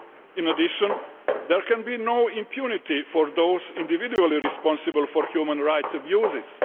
In addition, there can be no impunity for those individually responsible for human rights abuses.